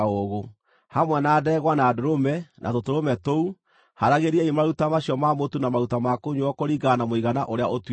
Hamwe na ndegwa, na ndũrũme, na tũtũrũme tũu, haaragĩriai maruta macio ma mũtu na maruta ma kũnyuuo kũringana na mũigana ũrĩa ũtuĩtwo.